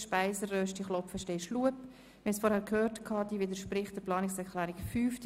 Wie wir vorhin gehört haben, widerspricht diese der Planungserklärung 5.